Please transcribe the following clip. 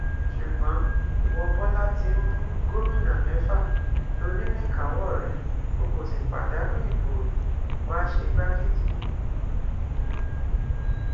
ṣùgbọn ìwo bọlá tìǹbù gómìnà mẹfà ló ní níkàáwọ rẹ o kò sì pàdánù ìbò rí wàá ṣe igbákejì mi